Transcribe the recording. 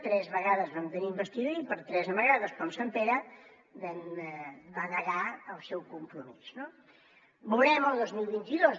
tres vegades vam tenir investidura i per tres vegades com sant pere va negar el seu compromís no veurem el dos mil vint dos